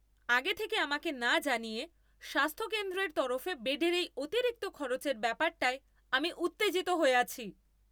আগে থেকে আমাকে না জানিয়ে স্বাস্থ্যকেন্দ্রের তরফে বেডের এই অতিরিক্ত খরচের ব্যাপারটায় আমি উত্তেজিত হয়ে আছি।